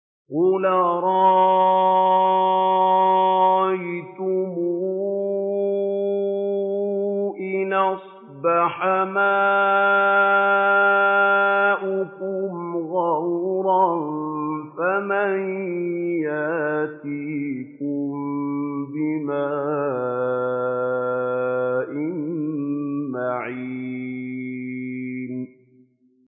قُلْ أَرَأَيْتُمْ إِنْ أَصْبَحَ مَاؤُكُمْ غَوْرًا فَمَن يَأْتِيكُم بِمَاءٍ مَّعِينٍ